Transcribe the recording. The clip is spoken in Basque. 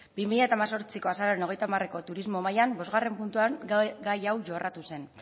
bi mila hemezortziko azaroaren hogeita hamarreko turismo mailan bostgarrena puntuan gai hau jorratu zen